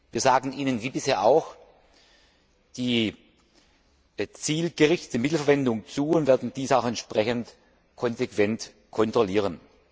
Wir sagen Ihnen wie bisher auch die zielgerichtete Mittelverwendung zu und werden dies auch entsprechend konsequent kontrollieren.